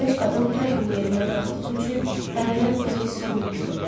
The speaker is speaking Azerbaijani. Gənc qadın hər gün yerindən qalxdığı üçün əvvəllər bu qədər hiss olunmurdu.